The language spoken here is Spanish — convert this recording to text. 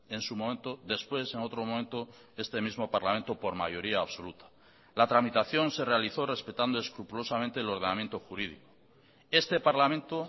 en su momento después en otro momento este mismo parlamento por mayoría absoluta la tramitación se realizó respetando escrupulosamente el ordenamiento jurídico este parlamento